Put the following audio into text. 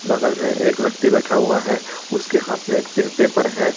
बगल मै एक व्यक्ति बैठा हुआ है उसके हाथ में एक पेपर है।